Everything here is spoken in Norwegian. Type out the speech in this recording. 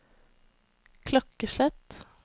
klokkeslett